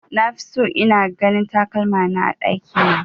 Nafi so ina ganin takalmana a ɗakina